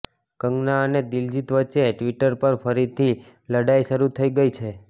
કંગના અને દિલજીત વચ્ચે ટ્વિટર પર ફરીથી લડાઈ શરૂ થઈ ગઈ છે